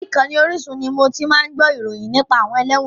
Orí ìkànnì Orísun ni mo ti máa ń gbó ìròyìn nípa àwọn ẹlẹ́wọ̀n.